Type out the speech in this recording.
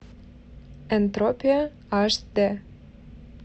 энтропия аш дэ